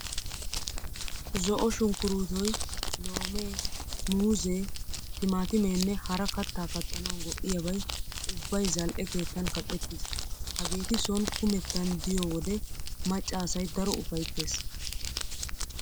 Zo'o sunkkurootoy, loomee, muuzzee, timaattimenne hara kattaa kattanawu go''iyabay ubbay zal"e keettan kaqettiis. Hageeti sooni kumettan de'iyo wode macca asay daro ufayttees.